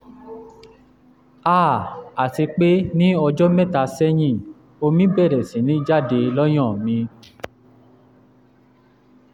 háà àti pé ní ọjọ́ mẹ́ta sẹ́yìn omi bẹ̀rẹ̀ sí ní jáde lọ́yàn mi